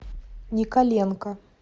николенко